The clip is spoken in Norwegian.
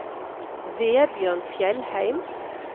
Vebjørn Fjellheim